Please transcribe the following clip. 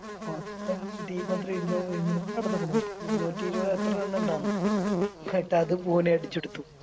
മൊത്തം Team എത്രയോ ഇരുന്നു ഇരുന്നൂറിനടുത്തക്കുണു ഇരുന്നൂറ്റി ഇരുപത് എത്ര Run ഇണ്ടാരുന്നു അതും കോഹ്ലി അടിച്ചെടുത്തു